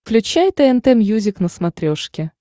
включай тнт мьюзик на смотрешке